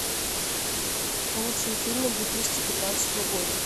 лучшие фильмы две тысячи пятнадцатого года